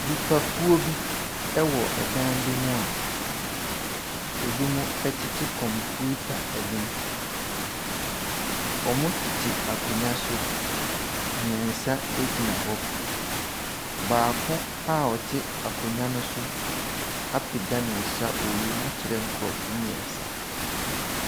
Nnipakuo bi wɔ dan bi mu a, binom tete kɔmputa anim. Wɔtete akonnwa so. Mmeɛnsa gyina hɔ. Baako a ɔte akonnwa no so apagya ne nsa wɔ wiem akyerɛ nkurɔfoɔ mmeɛnsa.